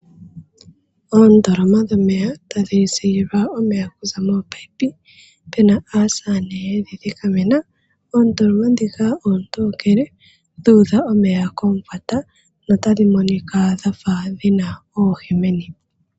Oondoloma dhomeya tadhi zililwa omeya okuza mominino pena aasamane yedhi thikamena . Oondoloma ndhika oontokele dhu udha omeya komufwata notadhi monika dhafa dhina oohi meni